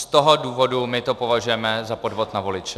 Z toho důvodu my to považujeme za podvod na voliče.